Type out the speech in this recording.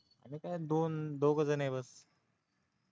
आम्ही काय दोन दोघजणं बस